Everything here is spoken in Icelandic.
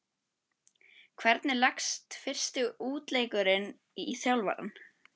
Hvernig leggst fyrsti útileikurinn í þjálfarann?